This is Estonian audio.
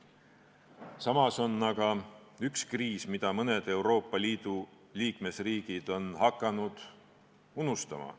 Samas on aga üks kriis, mida mõned Euroopa Liidu liikmesriigid on hakanud unustama.